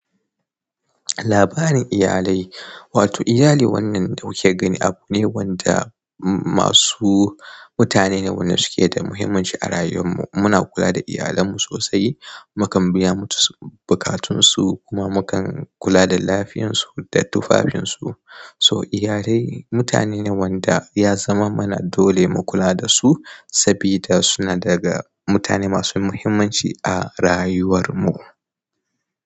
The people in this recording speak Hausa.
Labarin iyalai, wato iyali wannan da muke gani abu ne wanda masu mutane ne wanda suke da muhimmanci a rayuwar mu. Muna kula da iyalen mu sosai, mukan biya musu buƙatunsu kuma mukan kula da lafiyarsu da tufafinsu. So iyalai mutane ne wanda ya zama mana dole mu kula dasu, sabida suna daga mutane masu muhimmanci a rayuwar mu.